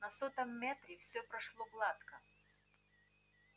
на сотом метре всё прошло гладко